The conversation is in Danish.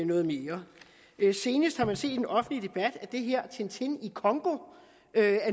noget mere senest har man set i den offentlige debat at tintin i congo